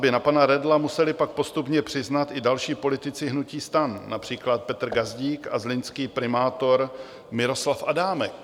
Vazby na pana Redla museli pak postupně přiznat i další politici hnutí STAN, například Petr Gazdík a zlínský primátor Miroslav Adámek.